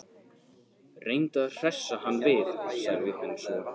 Reyndu að hressa hann við- sagði hún svo.